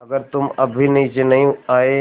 अगर तुम अब भी नीचे नहीं आये